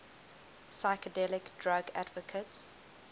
psychedelic drug advocates